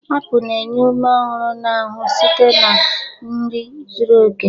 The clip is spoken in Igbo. Apụl na-enye ume ọhụrụ na ahụ site na nri zuru oke.